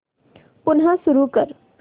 पुन्हा सुरू कर